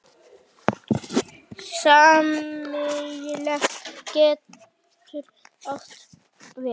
Smali getur átt við